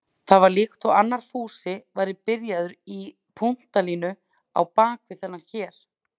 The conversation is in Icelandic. Það var líkt og annar Fúsi væri byrjaður í punktalínu á bak við þennan hér.